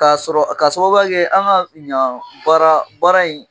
K'a sɔrɔ k'a sababuya kɛ an ka yan baara baara in